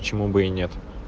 почему бы и нет